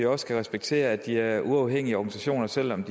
også respektere at de er uafhængige organisationer selv om